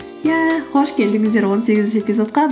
иә қош келдіңіздер он сегізінші эпизодқа